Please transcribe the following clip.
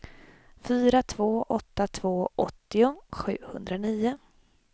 fyra två åtta två åttio sjuhundranio